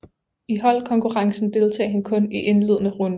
I holdkonkurrencen deltog han kun i indledende runde